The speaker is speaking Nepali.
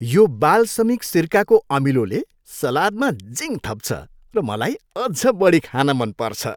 यो बालसमिक सिरकाको अमिलोले सलादमा जिङ थप्छ र मलाई अझ बढी खान मन पर्छ।